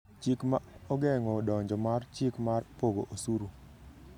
Chik ma ogeng’o donjo mar chik mar pogo osuru